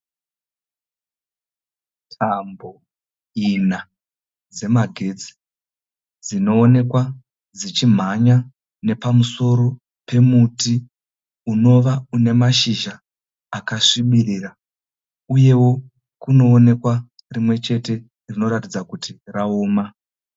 Tambo ina dzemagetsi dzinoonekwa dzichimhanya nepamusoro pemuti unova una mashizha akasvibirira uye kunoonekwa rimwe chete rinoratidza kuti raoma.